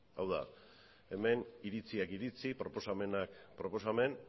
hau da hemen iritziak iritzi proposamenak proposamen